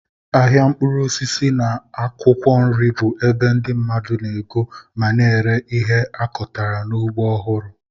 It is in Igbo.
Ahịa mkpụrụ osisi na akwụkwọ nri bụ ebe ndị mmadụ na-ego ma na-ere ihe a kọtara n'ugbo ọhụrụ.